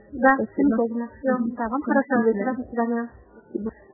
хорошо выглядите